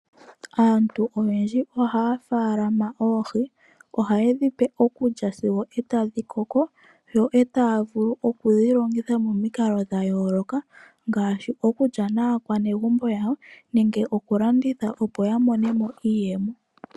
Aantu oyendji ohaya munu oohi. Ohayedhi pe okulya sigo etadhi koko. Yo taya vulu okudhi longitha momikalo dhayooloka ngaashi okulya naanegumbo yawo nenge oku landitha opo ya monemo iiyemo.